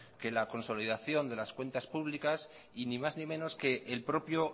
que la consolidación de las cuentas públicas y ni más ni menos que el propio